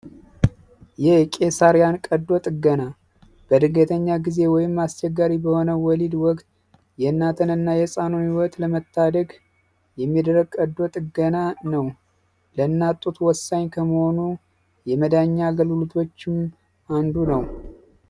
ይህ ቄሳርያን ቀዶ ጥገና በድገተኛ ጊዜ ወይም አስቸጋሪ በሆነ ወሊድ ወግ የእናተን እና የፃኖ ሚይወት ለመታደግ የሚድረግ ቀዶ ጥገና ነው። ለእናጡት ወሳኝ ከመሆኑ የመዳኛ አገልግቶችም አንዱ ነው።